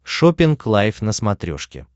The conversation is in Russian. шоппинг лайв на смотрешке